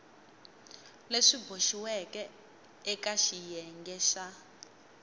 swi boxiweke eka xiyenge xa